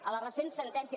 a la recent sentència